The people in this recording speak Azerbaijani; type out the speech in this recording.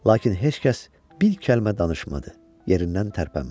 Lakin heç kəs bir kəlmə danışmadı, yerindən tərpənmədi.